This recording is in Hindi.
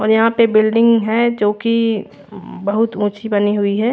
और यहाँ पे बिल्डिंग है जो की बहुत उँची बानी हुई है।